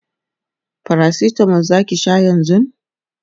paracetamol Zaki Sha yanzun?